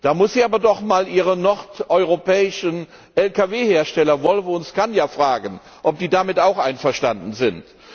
Da muss sie aber doch einmal ihre nordeuropäischen Lkw Hersteller Volvo und Scania fragen, ob die damit auch einverstanden sind.